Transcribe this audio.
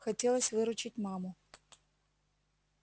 хотелось выручить маму